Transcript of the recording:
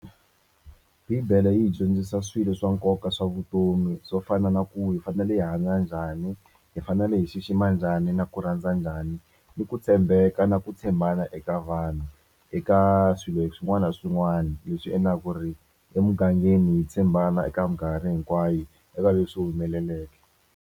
Bibele yi hi dyondzisa swilo swa nkoka swa vutomi swo fana na ku hi fanele hi hanya njhani hi fanele hi xixima njhani na ku rhandza njhani ni ku tshembeka na ku tshembana eka vanhu eka swilo swin'wana na swin'wana leswi endlaka ku ri emugangeni tshembana eka minkarhi hinkwayo eka leswi humeleleke.